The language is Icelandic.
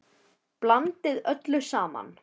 Blandið öllu saman.